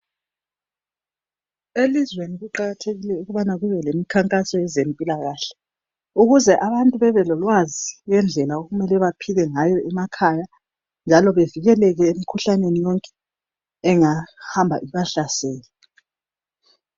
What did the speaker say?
Elizweni kuqakathekile ukubana kubelemi khankaso yezempilakahle ukuze abantu bebelolwazi yendlela okumele baphile ngayo emakhaya njalo bevikeleke emikhuhlaneni yonke engahamba ibahlasele.